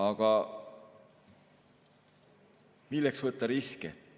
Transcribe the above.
Aga milleks võtta riske?